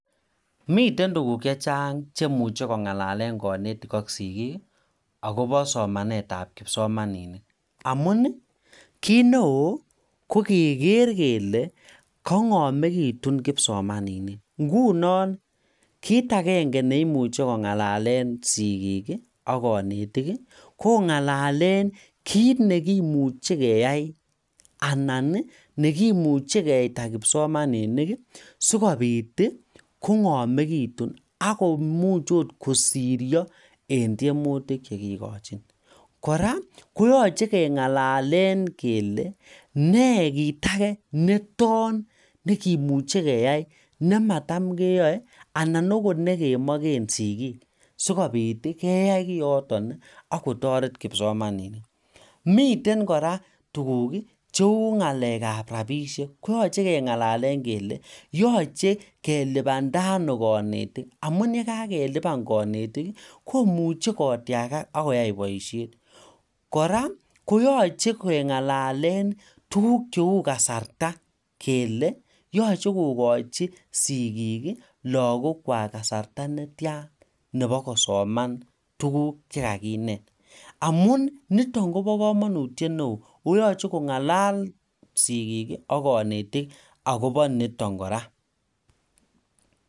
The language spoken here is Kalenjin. Miten tuguk chechang cheimuche kongalalen konetik aK sigiik ako o somanetab kipsomaninik amun kit ne oo kogegeer kele kong'amekitun kipsomaninik ingunon kit angenge neimuche kongalalen sigiik ii aK konetik ii ko kongalalen kit nekimuche keyai anan nekimuche keita kipsomaninik sikobit kongamekitun akomuch kosirio en tiemutuk chegikojin kora koyoche kengalalen kele nee kit ake neton nekimuche keyai nemadam keyoe anan okot negemogen sigiik sikobit keyai kioton akotoret kipsomaninik miten kora tuguk cheu rapisiek koyoche kengalalen kele yoche gelipanda ano kanetikamun yekagelipan konetik komuche kotiagak aK koyai boisiet kora koyoche kengalalen tuguk cheu kasarta kele yoche kogochi sigiik lokokwak kasarta netian nebo kosoman tuguk chekakinet amun niton Kobo komonutyet neo ako yoche kongalal sigiik ak konetik akobo niton kora